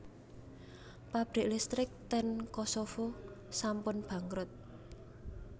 Pabrik listrik ten Kosovo sampun bangkrut